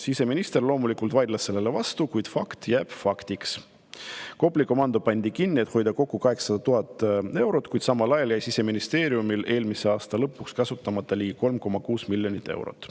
" Siseminister loomulikult vaidles sellele vastu, kuid fakt jääb faktiks: Kopli komando pandi kinni, et hoida kokku 800 000 eurot, kuid samal ajal jäi Siseministeeriumil eelmise aasta lõpuks kasutamata ligi 3,6 miljonit eurot.